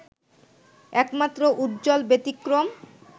একমাত্র উজ্জ্বল ব্যতিক্রম